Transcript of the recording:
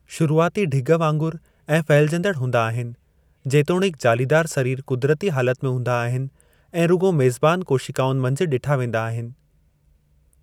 शुरूआती ढिॻ वांगुरु ऐं फहिलिजंदड़ु हुंदा आहिनि, जेतोणीकि जालीदारु सरीर क़ुदिरती हालत में हूंदा आहिनि ऐं रुॻो मेज़बानु कोशिकाउनि मंझि ॾिठा वेंदा आहिनि।